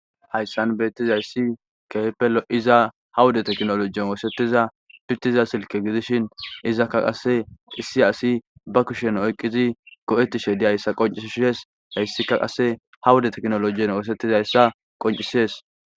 hayssan beettizayssi keypelo iza hawoda teknolojiyn woosettiza pittiza silke gidishin izakka qasse issi asi ba kushen oyqqizi go7ettishe diyayssa qoncis shees heyssika qasse hawuda teknolojiyen oosettizayssa qoncisees